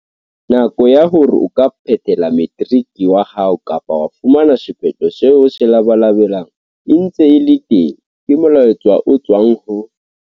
Nako ya hore o ka phethela materiki wa hao kapa wa fumana sephetho seo o se labalabelang e ntse e le teng, ke molaetsa o tswang ho.